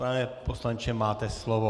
Pane poslanče, máte slovo.